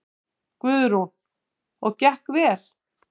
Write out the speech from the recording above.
Guðrún: Og gekk vel?